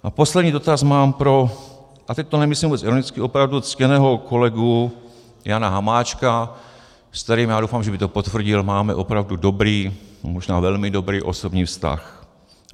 A poslední dotaz mám pro - a teď to nemyslím vůbec ironicky, opravdu - ctěného kolegu Jana Hamáčka, s kterým, já doufám, že by to potvrdil, máme opravdu dobrý, možná velmi dobrý osobní vztah.